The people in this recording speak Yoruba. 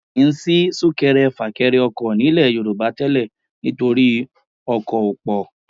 Kì í sí súnkẹrẹ fàkẹrẹ ọkọ̀ nílẹ̀ Yorùbá tẹ́lẹ̀ nítorí ọkọ̀ ò pọ̀